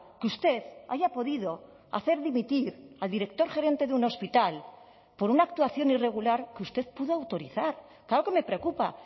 que usted haya podido hacer dimitir al director gerente de un hospital por una actuación irregular que usted pudo autorizar claro que me preocupa